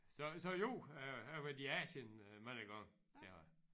Så så jo jeg jeg har været i Asien øh mange gange det har jeg